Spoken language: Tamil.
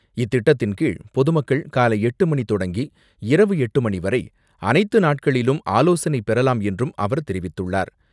இத்திட்டத்தின் கீழ் பொதுமக்கள் காலை எட்டு மணிக்கு தொடங்கி இரவு எட்டு மணி வரை அனைத்து நாட்களிலும் ஆலோசனை பெறலாம் என்றும் அவர் தெரிவித்துள்ளார்.